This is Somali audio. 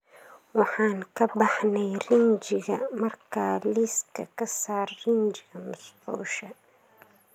Waxaan ka baxnay rinjiga markaa liiska ka saar rinjiga musqusha